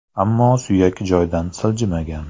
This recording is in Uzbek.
Ammo suyak joydan siljimigan.